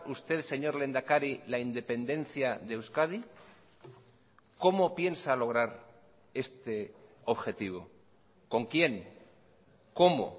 usted señor lehendakari la independencia de euskadi cómo piensa lograr este objetivo con quién cómo